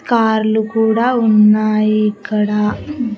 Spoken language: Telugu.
కార్లు కూడా ఉన్నాయి ఇక్కడ.